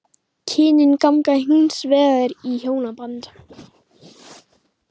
Kynin ganga hins vegar í hjónaband.